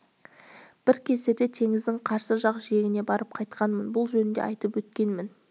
бір кездерде теңіздің қарсы жақ жиегіне барып қайтқанмын бұл жөнінде айтып өткенмін